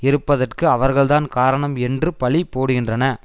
இருப்பதற்கு அவர்கள்தான் காரணம் என்று பழிபோடுகின்றன